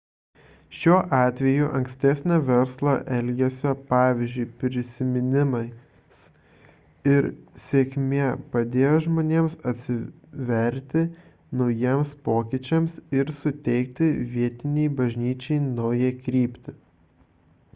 šiuo atveju ankstesnio verslo elgesio pavyzdžių prisiminimas ir sėkmė padėjo žmonėms atsiverti naujiems pokyčiams ir suteikti vietinei bažnyčiai naują kryptį